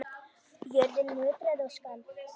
Jörðin nötraði og skalf.